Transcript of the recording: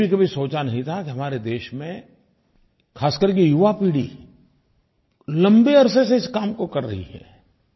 मैंने भी कभी सोचा नहीं था आज हमारे देश में खासकर के युवापीढ़ी लम्बे अरसे से इस काम को कर रही है